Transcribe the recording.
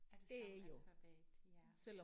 Er det samme alfabet ja